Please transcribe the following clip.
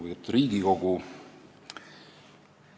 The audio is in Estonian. Lugupeetud Riigikogu!